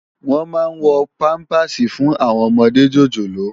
Wòn má n wò pàmpásí fún áwòn òmòdé jójólóò